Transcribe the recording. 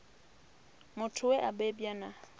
muthu we a bebwa na